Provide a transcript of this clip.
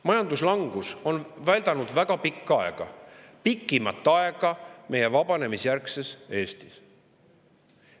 Majanduslangus on väldanud väga pikka aega, pikimat aega meie vabanemisjärgses Eestis.